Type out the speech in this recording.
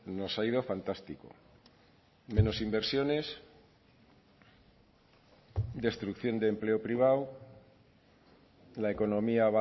nos ha ido fantástico menos inversiones destrucción de empleo privado la economía